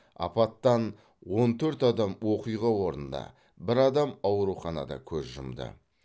апаттан он төрт адам оқиға орнында бір адам ауруханада көз жұмды